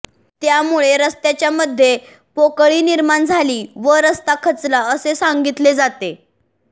त्यामुळे रस्त्याच्यामध्ये पोकळी निर्माण झाली व रस्ता खचला असे सांगितले जाते